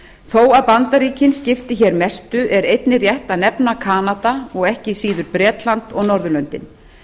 þó að bandaríkin skipti hér mestu er einnig rétt að nefna kanada og ekki síður bretland og norðurlöndin